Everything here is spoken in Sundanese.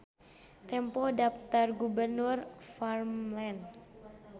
Tempo Daptar Gubernur Värmland.